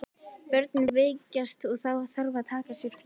Börnin veikjast og þá þarf að taka sér frí.